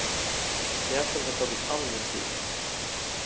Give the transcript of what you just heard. Pjäsen har tagit all min tid.